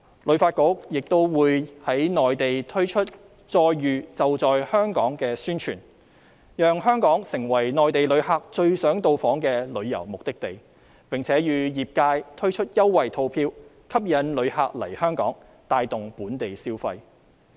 旅發局亦會在內地推出"再遇.就在香港"的宣傳，讓香港成為內地旅客最想到訪的旅遊目的地，並會與業界推出優惠套票吸引旅客來港，帶動本地消費。